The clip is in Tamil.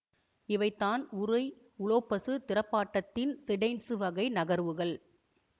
இவைதான் உருய் உலோப்பசு திறப்பாட்டத்தின் சிடெய்ன்சு வகை நகர்வுகள்